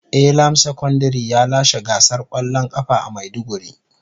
Elam secondary ya lashe gasar kwallon kafa a maiduguri.